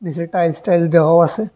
নীচে tiles tiles দেহওয়াও আসে।